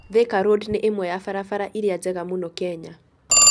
Thika Road nĩ ĩmwe ya barabara iria njega mũno Kenya